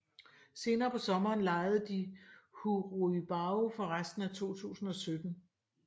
Senere på sommeren lejede de Hu Ruibao for resten af 2017